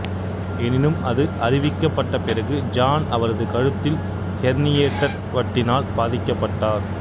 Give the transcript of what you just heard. எனினும் அது அறிவிக்கப்பட்ட பிறகு ஜான் அவரது கழுத்தில் ஹெர்னியேட்டட் வட்டினால் பாதிக்கப்பட்டார்